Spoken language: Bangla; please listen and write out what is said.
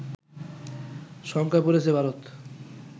শঙ্কায় পড়েছে ভারত